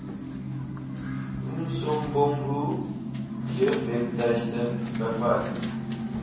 umsobomvu jeugwebtuiste bevat